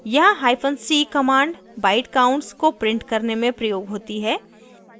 यहाँ hyphen c command byte counts को print करने में प्रयोग होती है